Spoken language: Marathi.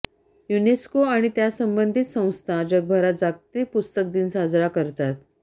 युनेस्को आणि त्यासंबंधित संस्था जगभरात जागतिक पुस्तक दिन साजरा करतात